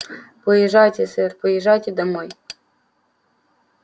поезжайте сэр поезжайте домой